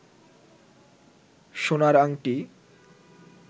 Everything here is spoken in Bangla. সোনার আংটি